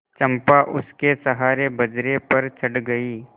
चंपा उसके सहारे बजरे पर चढ़ गई